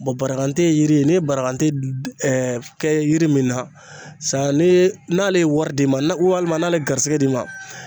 barakante yiri n'i ye barakante du kɛ yiri min na san nii n'ale ye wɔri d'i ma na u walima n'ale garisigɛ d'i ma